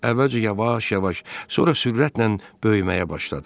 Əvvəlcə yavaş-yavaş, sonra sürətlə böyüməyə başladı.